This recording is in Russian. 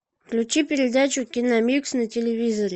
включи передачу киномикс на телевизоре